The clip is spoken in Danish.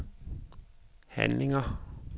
handlinger